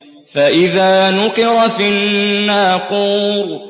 فَإِذَا نُقِرَ فِي النَّاقُورِ